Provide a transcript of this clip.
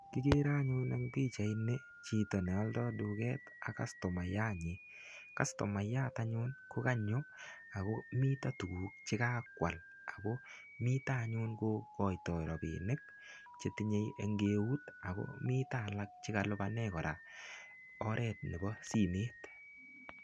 Kigere anyun eng pichaini chito ne aldo duket ak kastomayat. Kastomayat anyun ko konyo ago mito tuguk che kakwal ago mito anyun kokoito rapinik chetinye eng eut ago mito alak che kalupane oret nebo simet.